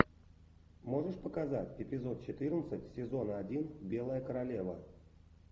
можешь показать эпизод четырнадцать сезона один белая королева